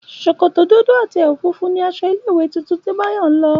Ṣòkòtò dúdú àti ẹ̀wù funfun ni aṣọ ilé ìwé tuntun tí Báyọ̀ ń lọ